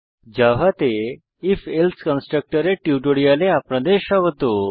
জাভাতে IF else কনস্ট্রাকটের টিউটোরিয়ালে আপনাদের স্বাগত